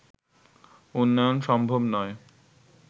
উন্নয়ন সম্ভব নয়